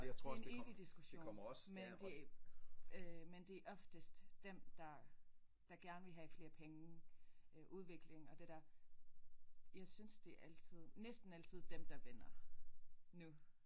Og det er en evig diskussion men det øh men det er oftest dem der gerne vil have flere penge og udvikling og det der jeg synes det er altid næsten altid dem der vinder nu